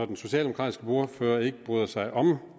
den socialdemokratiske ordfører ikke bryder sig om